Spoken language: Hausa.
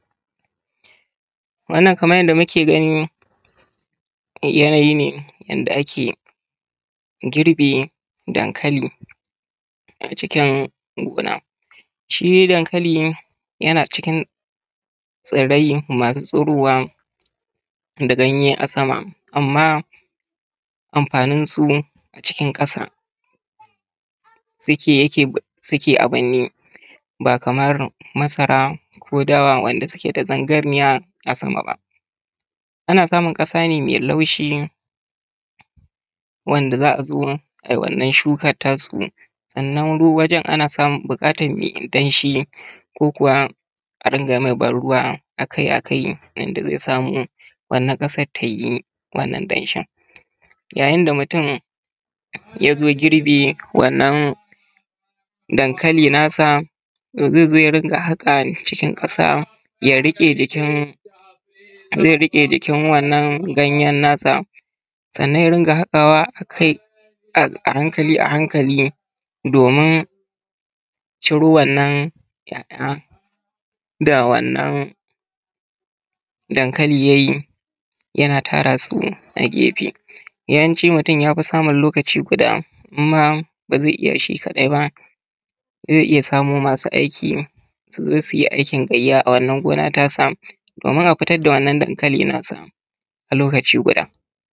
Wannan kamar yanda muke gani yanayi ne yanda ake girbin dankali a cikin gona. Shi dankali yana cikin tsirai masu tsurowa da ganye a sama amma amfanin su a cikin ƙasa suke a burne ba kamar masara ko dawa wanda suke da zarganniya a sama ba. Ana samun ƙasa ne mai laushi wanda za a zo ai wannan shukan ta su, sannan wajan ana buƙatan mai danshi, ko kuwa a dinga mai ban ruwa akai akai yanda zai samu wannan ƙasan tai wannan danshin. Yayin da mutum ya zo girbi wannan dankalin nasa, to zai zo ya ringa haƙa cikin ƙasa ya riƙe jikin wannan ganyen nasa, sannan ya ringa haƙawa a hankali a hankali domin ciro wannan ‘ya’ya da wannan dankalin da yayi yana tara su a gefe. Yawancin mutun yafi samun lokaci guda in ma ba zai iya shi kaɗai ba zai iya samo masu aiki su zo su yi aikin gayya a wannan gona tasa domin a fitar da dankali nasa a lokaci guda.